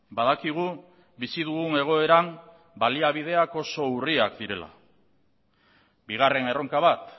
badakigu bizi dugun egoeran baliabideak oso urriak direla bigarren erronka bat